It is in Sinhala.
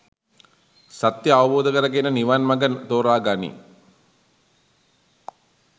සත්‍ය අවබෝධකරගෙන නිවන් මඟ තෝරාගනී.